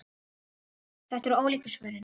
Þetta eru ólíku svörin.